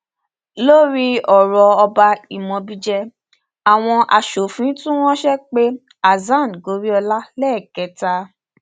lórí ọrọ ọba imobiije àwọn asòfin tún ránṣẹ pe hasan goriola lẹẹkẹta